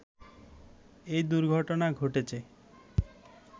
এ দুর্ঘটনা ঘটেছে